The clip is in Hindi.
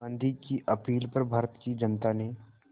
गांधी की अपील पर भारत की जनता ने